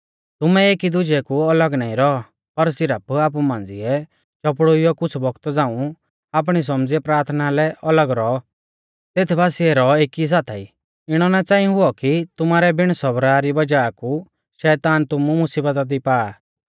तुमै एकी दुजै कु अलग नाईं रौ पर सिरफ आपु मांझ़िऐ चौपड़ुइयौ कुछ़ बौगता झ़ांऊ आपणी सौमझ़िऐ प्राथना लै अलग रौ तेथ बासिऐ रौ एकी साथाई इणौ ना च़ांई हुऔ कि तुमारै बिण सबरा री वज़ाह कु शैतान तुमु मुसीबता दी पा